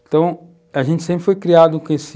Então, a gente sempre foi criado com esse...